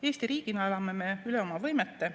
Eesti riigina elame me üle oma võimete.